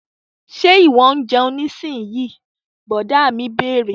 Ṣe ìwọ ń jẹun nísinyí? Brọ̀dá mi bẹ̀rẹ̀